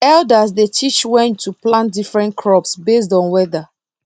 elders dey teach when to plant different crops based on weather